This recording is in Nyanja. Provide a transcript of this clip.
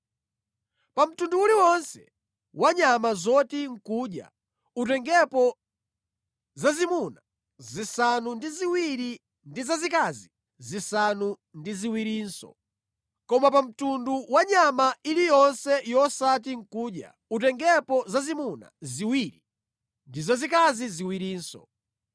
Pa mtundu uliwonse wa nyama zoti nʼkudya utengepo zazimuna zisanu ndi ziwiri ndi zazikazi zisanu ndi ziwirinso. Koma pa mtundu wa nyama iliyonse yosati nʼkudya utengepo zazimuna ziwiri ndi zazikazi ziwirinso.